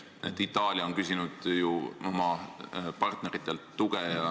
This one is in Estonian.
Itaalia on küsinud oma partneritelt tuge.